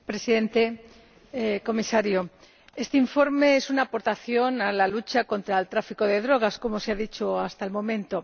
Señor Presidente, señor Comisario, este informe es una aportación a la lucha contra el tráfico de drogas, como se ha dicho hasta el momento.